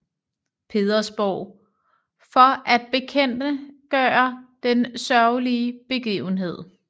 Petersborg for at bekendtgøre den sørgelige begivenhed